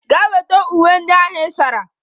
Gaa weta uwe ndị ị sara!